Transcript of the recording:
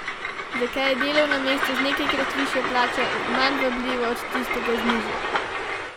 Zakaj je delovno mesto z nekajkrat višjo plačo manj vabljivo od tistega z nižjo?